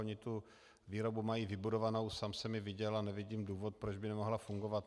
Oni tu výrobu mají vybudovanou, sám jsem ji viděl a nevidím důvod, proč by nemohla fungovat.